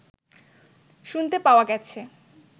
শুনতে পাওয়া গেছে